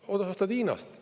Lähed, ostad Hiinast.